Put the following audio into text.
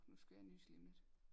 Nu skal jeg nyse lige om lidt